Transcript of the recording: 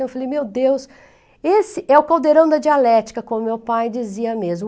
Eu falei, meu Deus, esse é o caldeirão da dialética, como meu pai dizia mesmo.